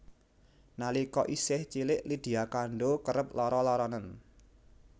Nalika isih cilik Lydia Kandou kerep lara laranen